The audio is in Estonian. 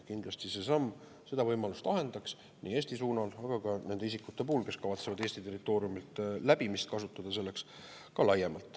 Kindlasti see samm seda võimalust ahendaks Eesti suunal, aga ka laiemalt nende isikute puhul, kes kavatsevad Eesti territooriumi läbimist selleks kasutada.